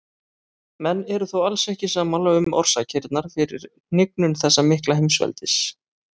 Menn eru þó alls ekki sammála um orsakirnar fyrir hnignun þessa mikla heimsveldis.